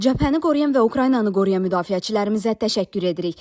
Cəbhəni qoruyan və Ukraynanı qoruyan müdafiəçilərimizə təşəkkür edirik.